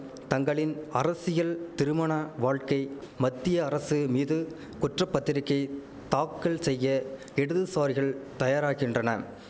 தங்களின் அரசியல் திருமண வாழ்க்கை மத்திய அரசு மீது குற்ற பத்திரிகை தாக்கல் செய்ய இடதுசாரிகள் தயாராகின்றன